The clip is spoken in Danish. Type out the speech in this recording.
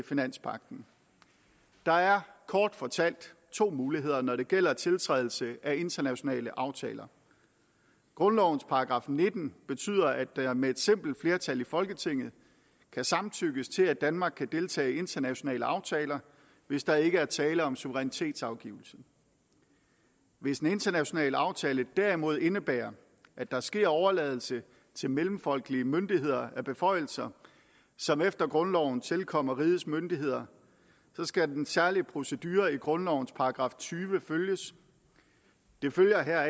finanspagten der er kort fortalt to muligheder når det gælder tiltrædelse af internationale aftaler grundlovens § nitten betyder at der med et simpelt flertal i folketinget kan samtykkes til at danmark kan deltage i internationale aftaler hvis der ikke er tale om suverænitetsafgivelse hvis den internationale aftale derimod indebærer at der sker overladelse til mellemfolkelige myndigheder af beføjelser som efter grundloven tilkommer rigets myndigheder skal den særlige procedure i grundlovens § tyve følges det følger